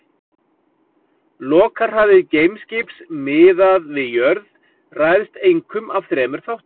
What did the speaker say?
Lokahraði geimskips miðað við jörð ræðst einkum af þremur þáttum.